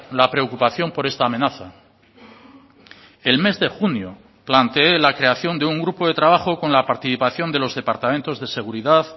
la preocupación por esta amenaza el mes de junio plantee la creación de un grupo de trabajo con la participación de los departamentos de seguridad